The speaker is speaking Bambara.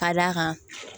Ka d'a kan